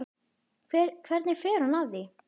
Hvernig fer hún að því?